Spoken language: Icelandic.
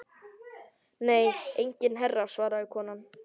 Nei enginn herra svaraði konan.